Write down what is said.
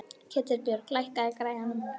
Ketilbjörg, lækkaðu í græjunum.